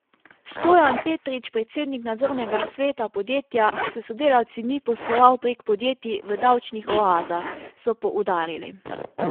Stojan Petrič, predsednik nadzornega sveta podjetja, s sodelavci ni posloval prek podjetij v davčnih oazah, so poudarili.